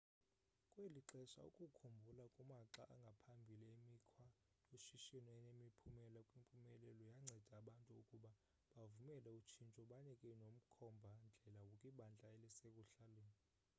kweli xesha ukukhumbula kumaxa angaphambili emikhwa yoshishino enemiphumela kwimpumelelo yanceda abantu ukuba bavumele utshintsho banike nomkhomba ndlela kwibandla elisekuhlaleni